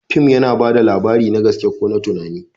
Fim yana ba da labari, na gaske ko na tunani.